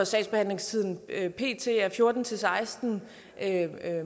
sagsbehandlingstiden pt er fjorten til seksten